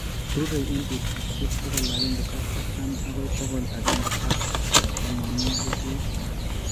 rurei eng' putusyek pokol agenge ak artam agoi pokol agenge ak tamanwogik lo.